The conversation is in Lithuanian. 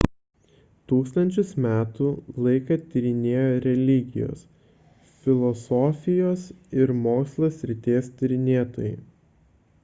tūkstančius metų laiką tyrinėjo religijos filosofijos ir mokslo srities tyrinėtojai